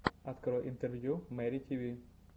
открой интервью мэри тиви